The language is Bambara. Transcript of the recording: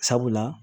Sabula